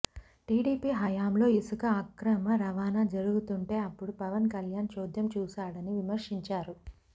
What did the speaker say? TDP హయాంలో ఇసుక అక్రమ రవాణా జరుగుతుంటే అప్పుడు పవన్ కల్యాణ్ చోద్యం చూశాడని విమర్శించారు